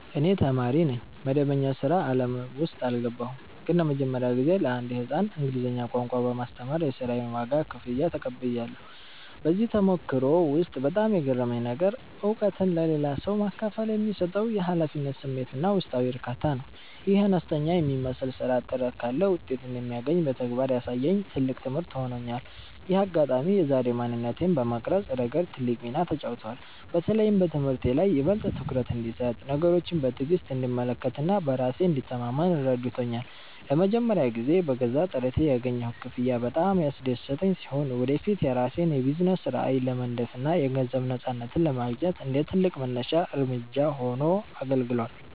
እኔ ተማሪ ነኝ፣ መደበኛ የሥራ ዓለም ውስጥ አልገባሁም። ግን ለመጀመሪያ ጊዜ ለአንድ ሕፃን እንግሊዝኛ ቋንቋ በማስተማር የሥራዬን ዋጋ (ክፍያ) ተቀብያለሁ። በዚህ ተሞክሮ ውስጥ በጣም የገረመኝ ነገር፣ እውቀትን ለሌላ ሰው ማካፈል የሚሰጠው የኃላፊነት ስሜትና ውስጣዊ እርካታ ነው። ይህ አነስተኛ የሚመስል ሥራ ጥረት ካለ ውጤት እንደሚገኝ በተግባር ያሳየኝ ትልቅ ትምህርት ሆኖኛል። ይህ አጋጣሚ የዛሬ ማንነቴን በመቅረጽ ረገድ ትልቅ ሚና ተጫውቷል። በተለይም በትምህርቴ ላይ ይበልጥ ትኩረት እንድሰጥ፣ ነገሮችን በትዕግሥት እንድመለከትና በራሴ እንድተማመን ረድቶኛል። ለመጀመሪያ ጊዜ በገዛ ጥረቴ ያገኘሁት ክፍያ በጣም ያስደሰተኝ ሲሆን፣ ወደፊት የራሴን የቢዝነስ ራዕይ ለመንደፍና የገንዘብ ነፃነትን ለማግኘት እንደ ትልቅ መነሻ እርምጃ ሆኖ አገልግሏል።